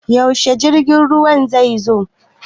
Yaushe jirgin ruwan zai zo?